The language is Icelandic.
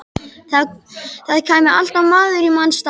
Það kæmi alltaf maður í manns stað.